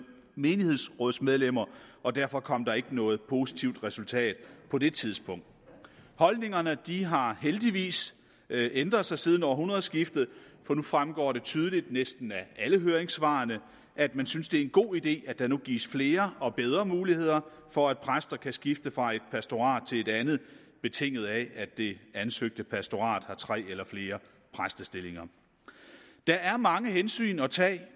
menighedsrådsmedlemmer og derfor kom der ikke noget positivt resultat på det tidspunkt holdningerne har heldigvis ændret sig siden århundredskiftet for nu fremgår det tydeligt af næsten alle høringssvar at man synes det er en god idé at der nu gives flere og bedre muligheder for at præster kan skifte fra et pastorat til et andet betinget af at det ansøgte pastorat har tre eller flere præstestillinger der er mange hensyn at tage i